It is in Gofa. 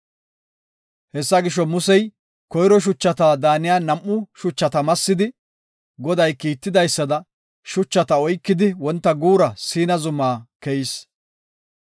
Hessa gisho, Musey koyro shuchata daaniya nam7u shuchata massidi, Goday kiitidaysada, shuchata oykidi wonta guura Siina zuma bola keyis.